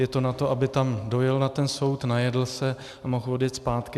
Je to na to, aby tam dojel na ten soud, najedl se a mohl odjet zpátky.